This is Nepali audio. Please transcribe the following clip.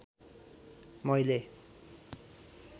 मैले